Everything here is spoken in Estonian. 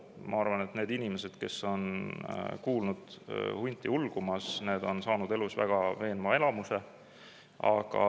Ma arvan, et need inimesed, kes on kuulnud hunti ulgumas, on saanud elus väga veenva elamuse.